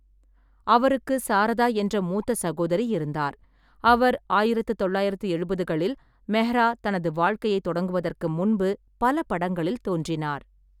அவருக்கு சாரதா என்ற மூத்த சகோதரி இருந்தார், அவர் ஆயிரத்து தொள்ளாயிரத்து எழுபதுகளில் மெஹ்ரா தனது வாழ்க்கையைத் தொடங்குவதற்கு முன்பு பல படங்களில் தோன்றினார்.